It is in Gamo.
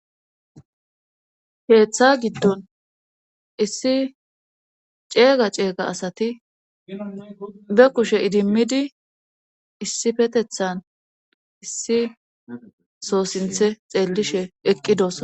Heeththa giddon issi ceega ceega asati be kushe idimmidi issifetethan issi soossinthe xeellishe eqqidos.